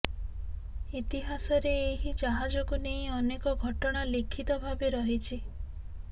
ଇତିହାସରେ ଏହି ଜାହାଜକୁ ନେଇ ଅନେକ ଘଟଣା ଲିଖିତ ଭାବେ ରହିଛି